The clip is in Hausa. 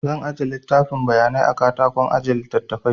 Zan aje littafin bayanai a katakon aje littafai